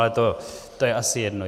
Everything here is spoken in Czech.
Ale to je asi jedno.